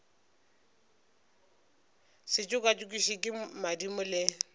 se tšokatšokišwe ke madimo le